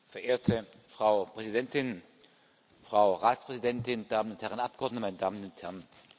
Verehrte Frau Präsidentin, Frau Ratspräsidentin, meine Damen und Herren Abgeordneten, meine Damen und Herren!